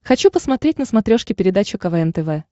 хочу посмотреть на смотрешке передачу квн тв